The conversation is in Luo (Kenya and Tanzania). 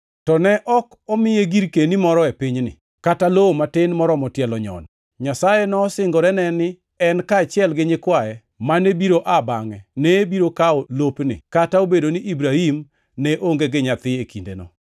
To ne ok omiye girkeni moro e pinyni, kata lowo matin moromo tielo nyono. Nyasaye nosingorene ni en kaachiel gi nyikwaye mane biro aa bangʼe ne biro kawo lopni, kata obedo ni Ibrahim ne onge gi nyathi e kindeno.